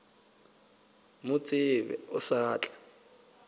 mo tsebe o sa tla